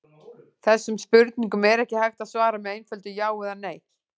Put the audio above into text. Þessum spurningum er ekki hægt að svara með einföldu já eða nei.